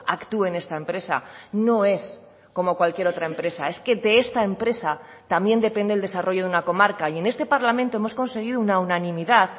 actúe en esta empresa no es como cualquier otra empresa es que de esta empresa también depende el desarrollo de una comarca y en este parlamento hemos conseguido una unanimidad